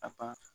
A pan